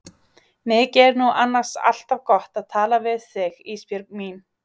Mikið er nú annars alltaf gott að tala við þig Ísbjörg mín.